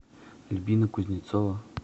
альбина кузнецова